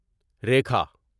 Rekha